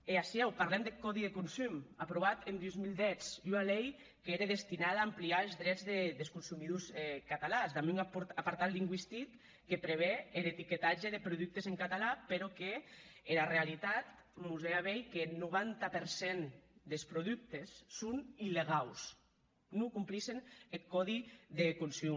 e aciu parlam deth còdi de consum aprovat en dos mil deu ua lei qu’ère destinada a agranir es drets des consumidors catalans damb un apartat lingüistic que preve er etiquetatge de productes en catalan mès qu’era realitat mos hè a veir qu’eth noranta per cent des productes son illegaus non complissen eth còdi de consum